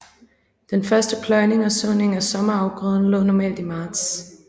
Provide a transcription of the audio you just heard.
Den første pløjning og såning af sommerafgrøden lå normalt i marts